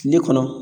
Tile kɔnɔ